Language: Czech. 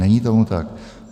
Není tomu tak.